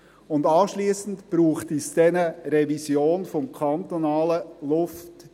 Und anschliessend bräuchte es dann eine Revision des kantonalen LHG.